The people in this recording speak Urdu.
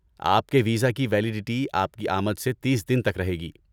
آپ کے ویزا کی ویلیڈٹی آپ کی آمد سے تیس دن تک رہے گی۔